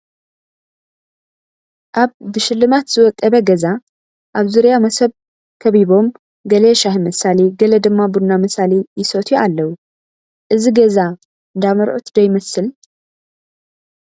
ኣብ ብሽልማት ዝወቀበ ገዛ ኣብ ዙርያ መሶብ ከቢቦብ ገለ ሻሂ መሳሊ ገለ ድማ ቡና መሳሊ ይሰትዩ ኣለዉ፡፡ እዚ ገዛ እንዳ መርዑት ዶ ይመስል?